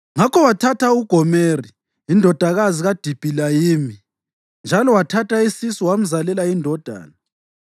Ngakho wathatha uGomeri indodakazi kaDibilayimi, njalo wathatha isisu wamzalela indodana.